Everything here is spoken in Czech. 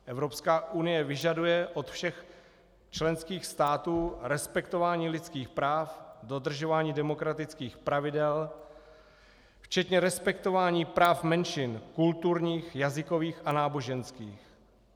Evropská unie vyžaduje od všech členských států respektování lidských práv, dodržování demokratických pravidel včetně respektování práv menšin kulturních, jazykových a náboženských.